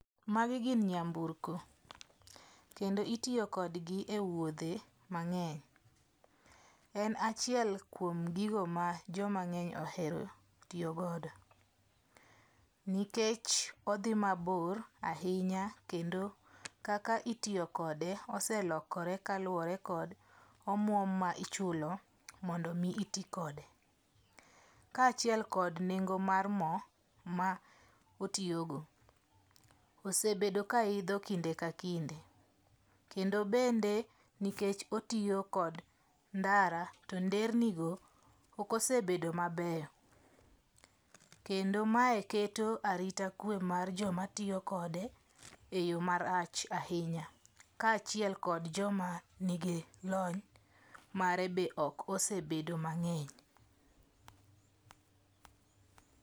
Magi gin nyamburko, kendo itiyokodgi e wuodhe mang'eny. En achiel kuom gigo ma jomang'eny ohero tiyogodo nikech odhi mabor ahinya kendo kaka itiyo kode oselokore kaluwore kod omuom ma ichulo mondo omi iti kode. Kaachiel kod nengo mar mo ma otiyogo osebedo ka idho kinde ka kinde, kendo bende nikech otiyo kod ndara to nderni go ok osebedo mabeyo, kendo mae keto arita kwe mar jomatiyo kode e yo marach ahinya kaachiel kod joma nigi lony mare be ok osebedo mang'eny.